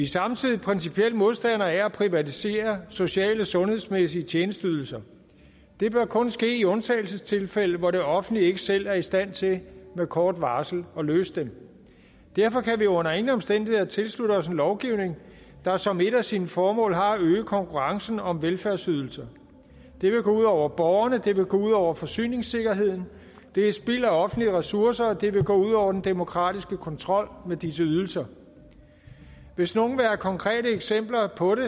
samtidig principielt modstandere af at privatisere sociale og sundhedsmæssige tjenesteydelser det bør kun ske i undtagelsestilfælde hvor det offentlige ikke selv er i stand til med kort varsel at løse dem derfor kan vi under ingen omstændigheder tilslutte os en lovgivning der som et af sine formål har at øge konkurrencen om velfærdsydelser det vil gå ud over borgerne og det vil gå ud over forsyningssikkerheden det er spild af offentlige ressourcer og det vil gå ud over den demokratiske kontrol med disse ydelser hvis nogle vil have konkrete eksempler på det